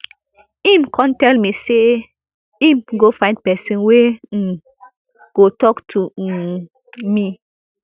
im kon tell me say im go find pesin wey um go tok to um me